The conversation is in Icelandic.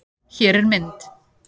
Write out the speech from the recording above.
Hér er mynd